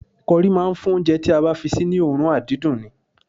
Kọrí máa ń fún oúnjẹ tí a bá fi sí ní òórùn àdídùn ni